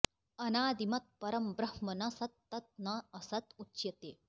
अनादिमत् परम् ब्रह्म न सत् तत् न असत् उच्यते